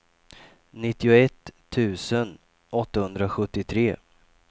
nittioett tusen åttahundrasjuttiotre